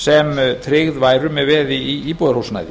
sem tryggð væru með veði í íbúðarhúsnæði